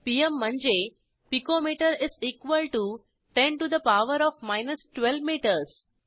PM म्हणजे पिको metre 10 to the power of 12 metres